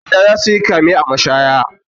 Ƴan sanda za su yi kame a mashaya.